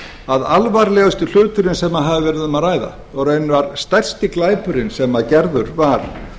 að alvarlegasti hluturinn sem hefur verið um að ræða og raunar stærsti glæpurinn sem gerður var